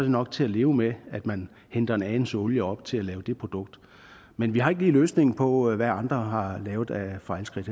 nok til at leve med at man hente en anelse olie op til at lave det produkt men vi har ikke lige løsningen på hvad andre har lavet af fejlskridt